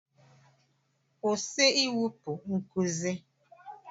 Kwụsị ịwụpụ nkuzi!